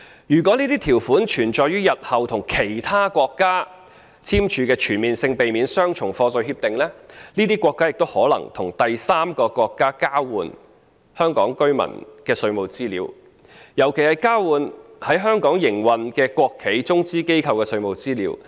如果這些條款存在於日後與其他國家簽署的全面性避免雙重課稅協定中，這些國家也可能與第三個國家交換香港居民的稅務資料，尤其是交換在香港營運的國企及中資機構的稅務資料。